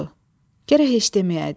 Gərək heç deməyəydim.